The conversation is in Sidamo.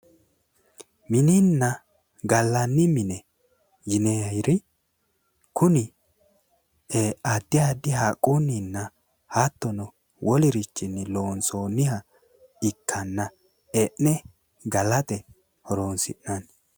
Mininna gallanni mine yinanniri kuri ee addi addi haqqunnina hattonni woliri loonsoonniha e'ne galate horonsi'nanni